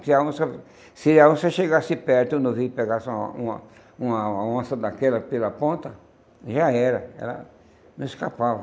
Se a onça se a onça chegasse perto e o novilho pegasse uma uma uma onça daquela pela ponta, já era, ela não escapava.